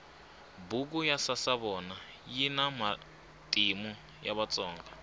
buku ya sasavona yina matimu ya vatsonga